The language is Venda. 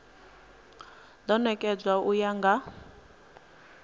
do nekedzwa u ya nga